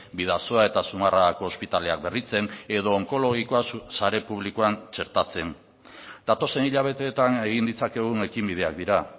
bidasoa eta zumarragako ospitaleak berritzen edo onkologikoa sare publikoan txertatzen datozen hilabeteetan egin ditzakegun ekinbideak dira